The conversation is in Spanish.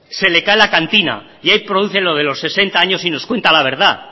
se le cae la cantina y ahí produce lo de los sesenta años y nos cuenta la verdad